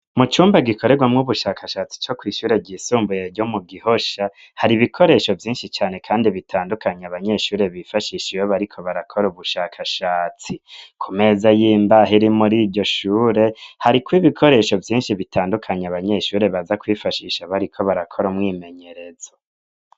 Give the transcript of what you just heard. Mu cumba, gikorerwamwo ubushakashatsi, co kw'ishure ryisumbuye, ryo mu Gihosha; hari ibikoresho vyinshi cane, kandi bitandukanye, abanyeshure bifashisha, iyo bariko barakora, ubushakashatsi; ku meza y'imbaho, iri muri iryo shure, hariko ibikoresho vyinshi, bitandukanye, abanyeshure baza kwifashisha, bariko barakora, umwimenyerezo.